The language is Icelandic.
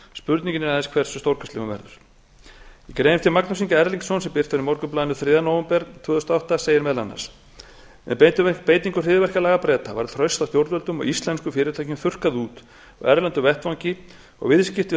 er aðeins hversu stórkostleg hún verður í grein eftir magnús inga erlingsson sem birt var í morgunblaðinu þriðja nóvember tvö þúsund og átta segir meðal annars með beitingu hryðjuverkalaga breta var traust á stjórnvöldum og íslenskum fyrirtækjum þurrkað út á erlendum vettvangi og viðskipti